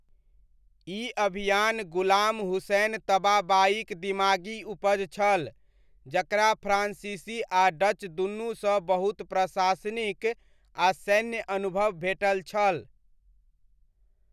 ई अभियान गुलाम हुसैन तबाबाईक दिमागी उपज छल, जकरा फ्रान्सीसी आ डच दुनूसँ बहुत प्रशासनिक आ सैन्य अनुभव भेटल छल।